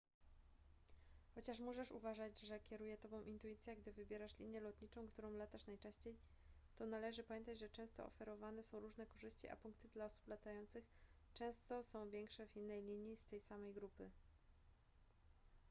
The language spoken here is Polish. chociaż możesz uważać że kieruje tobą intuicja gdy wybierasz linię lotniczą którą latasz najczęściej to należy pamiętać że często oferowane są różne korzyści a punkty dla osób latających często są większe w innej linii z tej samej grupy